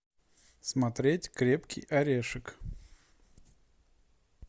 смотреть крепкий орешек